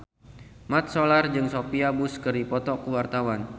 Mat Solar jeung Sophia Bush keur dipoto ku wartawan